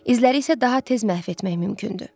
İzləri isə daha tez məhv etmək mümkündür.